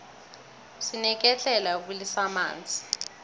sineketlela yokubilisa amanzi